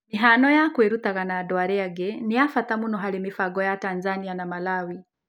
Mĩhaano ya kwĩrutaga na andũ arĩa angĩ nĩ ya bata mũno harĩ mĩbango ya Tanzania na Malawi.